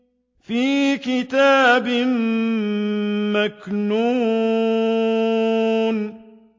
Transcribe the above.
فِي كِتَابٍ مَّكْنُونٍ